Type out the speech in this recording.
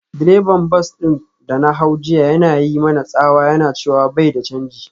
Direban bas din da na hau jiya yana yi mana tsawa yana cewa bai da canji.